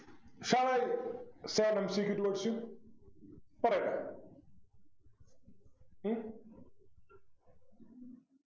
Shall I say one Secret towards you പറയട്ടെ ഉം